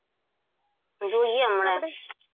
જોઈએ હમણાં